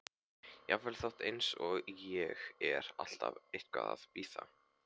Jafnvel fólk eins og ég er alltaf eitthvað að bíða.